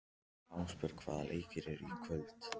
Ástbjörg, hvaða leikir eru í kvöld?